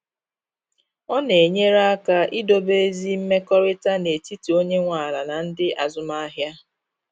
Ọ na enyere aka idobe ezi mmekọrịta n’etiti onye nwe ala na ndị azụmahịa.